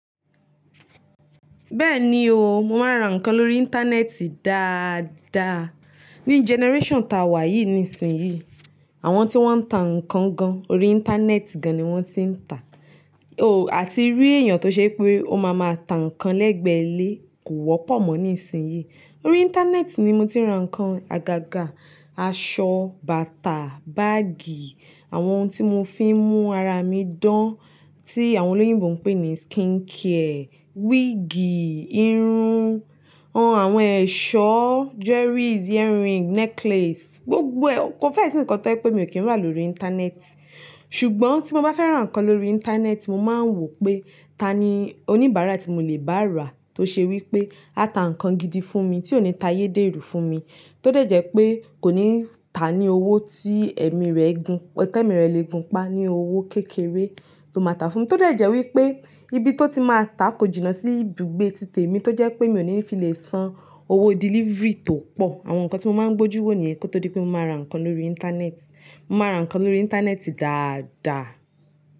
Bẹ́ẹ̀ni o, mo máa ń ra nǹkan lórí Íńtánẹ́ẹ̀tì dáadaa. Ni generation ta wà yìí nísinsìnyí, àwọn tí wọ́n ń tà nǹkan gan, orí Íńtánẹ́ẹ̀tì gan ni wọ́n ti ń tà. O, àti rí èèyàn tó ṣe pé ó máa ma tà nǹkan lẹ́gbẹ̀ẹ́ ilé kò wọ́pọ̀ mọ́ nísinsìnyí. Orí Íńtánẹ́ẹ̀tì ni mo ti ń ra nǹkan àgàgà, aṣọ, bàtà, báàgì, àwọn ohun tí mo fi ń mú ara mi dán tí àwọn olóyìnbo ń pè ní skincare, wíìgì, irun, o, àwọn ẹ̀ṣọ́, jewelries, earring, necklace, gbogbo ẹ. Ko fẹ́ sì nǹkan tọ́ je pé mi ò kí ń rà lórí Íńtánẹ́ẹ̀tì. Ṣùgbọ́n tí mo bá fẹ́ran nǹkan lórí Íńtánẹ́ẹ̀tì, mo máa ń wò pé ta ni oníbàárà tí mo lè bá rà tó ṣe wí pé a tà nǹkan gidi fún mi tí ò ní ta ayédèrú fún mi, tó dẹ̀jẹ̀ pé kò ní tà á ní owó tí ẹ̀mí rẹ̀ gun-- tẹ́mi rẹ̀ le gun pa, ní owó kékeré lo máa tà fún mi, tó dẹ̀jẹ̀ wí pé ibi tó ti máa tà kò jìnnà sí ibùgbé títè mi tó jẹ́ pé mi ò ní fi lè san owó delivery tó pọ̀. Àwọn nǹkan tí mo máa ń gbójú wò nìyẹn kó tó dí pé mo máa ra nǹkan lórí Íńtánẹ́ẹ̀tì. Mo máa ra nǹkan lórí Íńtánẹ́ẹ̀tì dáadaa.